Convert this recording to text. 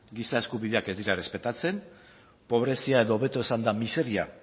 giza eskubideak ez dira errespetatzen pobrezia edo hobeto esanda miseria